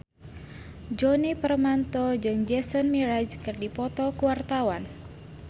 Djoni Permato jeung Jason Mraz keur dipoto ku wartawan